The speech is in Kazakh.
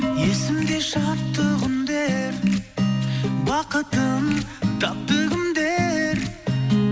есімде шаттық үндер бақытын тапты кімдер